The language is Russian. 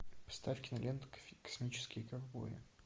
поставь киноленту космические ковбои